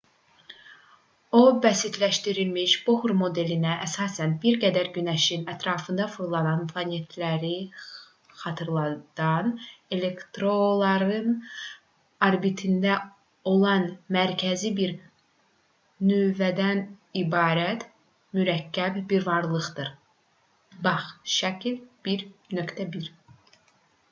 o bəsitləşdirilmiş bohr modelinə əsasən bir qədər günəşin ətrafında fırlanan planetləri xatırladan elektronların orbitində olan mərkəzi bir nüvədən ibarət mürəkkəb bir varlıqdır. bax. şək. 1.1